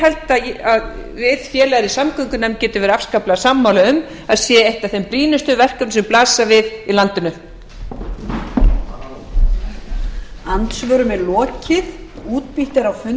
held að við félagar í samgöngunefnd getum verið afskaplega sammála um að sé eitt af þeim brýnustu verkefnum sem blasa við í landinu